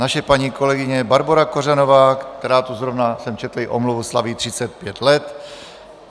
Naše paní kolegyně Barbora Kořanová, která tu - zrovna jsem četl její omluvu, slaví 35 let.